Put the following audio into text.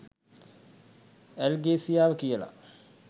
ඇල්ගේසියාව කියලා